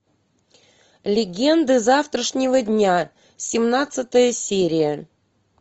легенда завтрашнего дня семнадцатая серия